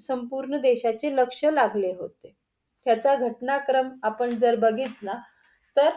संपूर्ण देशाचे लक्ष्य लागले होते. ह्याचा घटनाक्रम आपण जर बघितला तर